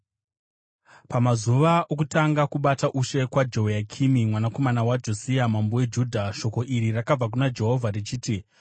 Pamazuva okutanga kubata ushe kwaJehoyakimi mwanakomana waJosia mambo weJudha, shoko iri rakabva kuna Jehovha richiti,